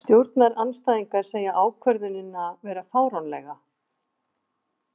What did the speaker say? Stjórnarandstæðingar segja ákvörðunina vera fáránlega